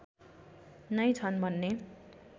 नै छ्न् भन्ने